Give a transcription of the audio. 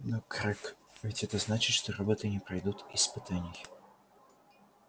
но грег ведь это значит что роботы не пройдут испытаний